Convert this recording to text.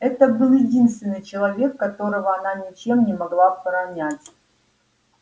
это был единственный человек которого она ничем не могла пронять